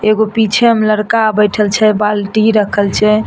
एगो पीछे मे लड़का बइठल छै बाल्टी रखल छै ।